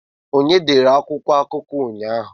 Onye dere akwụkwọ akụkọ ụnyaahụ?